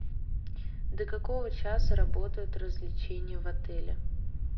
до какого часа работают развлечения в отеле